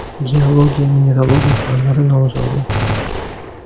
Geologiya-mineralogiya fanlari nomzodi.